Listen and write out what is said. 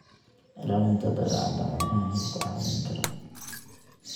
Ilaalinta Dabeecadda Xoolaha ayaa ku caawin kara.